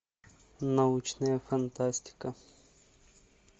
научная фантастика